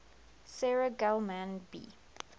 sarah gell mann b